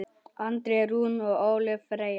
Andrea Rún og Ólöf Freyja.